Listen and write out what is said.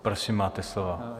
Prosím, máte slovo.